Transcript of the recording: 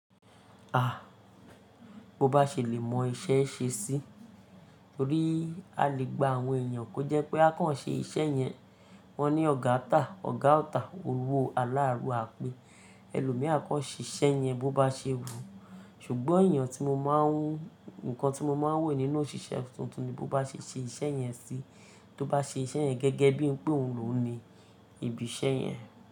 A! Bo bá ṣe lè mọ iṣẹ́ ṣe sí, torí a lè gba àwọn èèyàn kó jẹ́ pé a kàn ṣe iṣẹ́ yẹn. Wọ́n ní ọ̀gá tà, ọ̀gá ọ̀ tà, owó aláarù à pé, ẹlòmìí a kọ́ ṣẹ iṣẹ́ yẹn bó bá ṣe wù. Ṣùgbọ́n ẹ̀yàn tí mo máa ń-- nǹkan tí mo máa ń wò nínú òṣìṣẹ́ tuntun ni bó bá ṣe ṣe iṣẹ́ yẹn sí, tó bá ṣe iṣẹ́ yẹn gẹ́gẹ́ bí ìpè òun ló ni, ìbi iṣẹ́ yẹn.